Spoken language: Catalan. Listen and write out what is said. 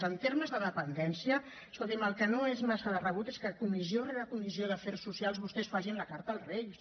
en termes de dependència escoltin me el que no és massa de rebut és que comissió rere comissió d’afers socials vostès facin la carta als reis